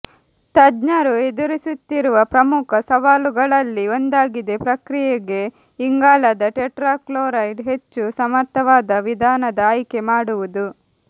ತಜ್ಞರು ಎದುರಿಸುತ್ತಿರುವ ಪ್ರಮುಖ ಸವಾಲುಗಳಲ್ಲಿ ಒಂದಾಗಿದೆ ಪ್ರಕ್ರಿಯೆಗೆ ಇಂಗಾಲದ ಟೆಟ್ರಾಕ್ಲೋರೈಡ್ ಹೆಚ್ಚು ಸಮರ್ಥವಾದ ವಿಧಾನದ ಆಯ್ಕೆ ಮಾಡುವುದು